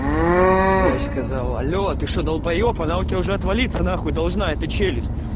врач сказала алло ты что долбаеб она у тебя уже отвалиться нахуй должна эта челюсть